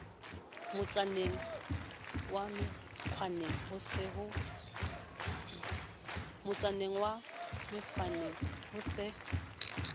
motsaneng wa menkgwaneng ho se